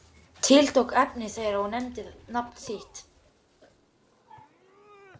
Tiltók efni þeirra og nefndi nafn þitt.